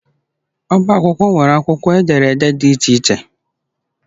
Ọbá akwụkwọ nwere akwụkwọ ederede dị iche iche